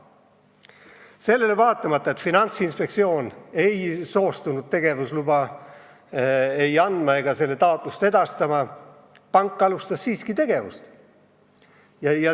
Sellele vaatamata, et Finantsinspektsioon ei soostunud ei tegevusluba andma ega taotlust edastama, alustas pank siiski tegevust.